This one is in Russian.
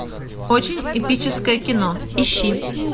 очень эпическое кино ищи